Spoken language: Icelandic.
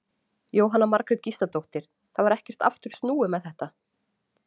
Jóhanna Margrét Gísladóttir: Það var ekkert aftur snúið með þetta?